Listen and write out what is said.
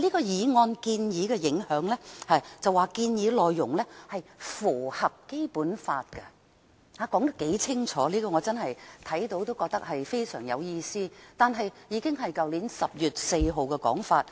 在"建議的影響"部分，它表示"建議符合《基本法》"，說得多麼清楚，我看到後真的覺得非常有意思，但這已是去年10月4日的說法。